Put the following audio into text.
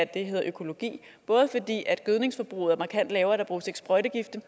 det hedder økologi både fordi gødningsforbruget er markant lavere der bruges sprøjtegifte